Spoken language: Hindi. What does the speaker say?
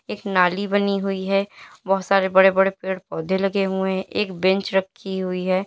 एक नाली बनी हुई है बहुत सारे बड़े बड़े पेड़ पौधे लगे हुए है एक बेंच रखी हुई है।